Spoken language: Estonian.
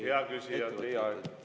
Hea küsija, teie aeg!